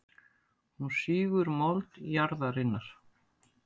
Hún sýgur mold jarðarinnar.